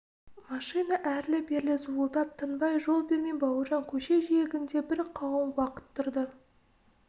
машина әрлі-берлі зуылдап тынбай жол бермей бауыржан көше жиегінде бір қауым уақыт тұрды